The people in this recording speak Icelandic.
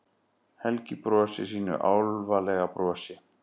Helgi brosir sínu álfalega brosi.